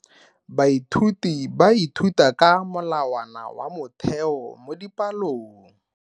Baithuti ba ithuta ka molawana wa motheo mo dipalong.